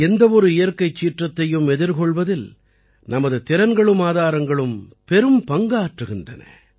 எந்த ஒரு இயற்கைச் சீற்றத்தையும் எதிர்கொள்வதில் நமது திறன்களூம் ஆதாரங்களும் பெரும்பங்காற்றுகின்றன